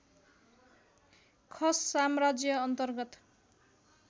खस साम्राज्य अन्तर्गत